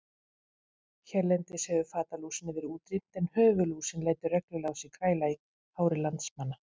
Hérlendis hefur fatalúsinni verið útrýmt en höfuðlúsin lætur reglulega á sér kræla í hári landsmanna.